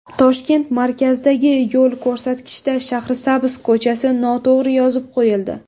Toshkent markazidagi yo‘l ko‘rsatkichda Shahrisabz ko‘chasi noto‘g‘ri yozib qo‘yildi.